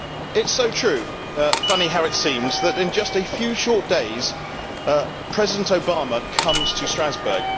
It is so true, funny how it seems' that in just a few short days President Obama comes to Strasbourg.